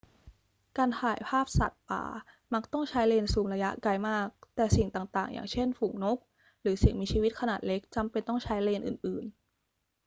การถ่ายภาพสัตว์ป่ามักต้องใช้เลนส์ซูมระยะไกลมาก แต่สิ่งต่าง ๆ อย่างเช่น ฝูงนกหรือสิ่งมีชีวิตขนาดเล็กจำเป็นต้องใช้เลนส์อื่น ๆ